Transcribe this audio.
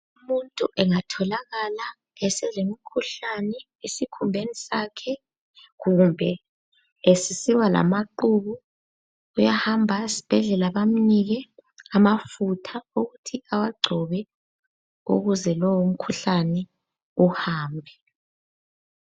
Umuntu engatholakala eselemikhuhlane esikhumbeni sakhe kumbe esiba lamaqhubu uyahamba esibhedlela bamnike amafutha okuthi awagcobe ukuze lowomkhuhlane uhambe.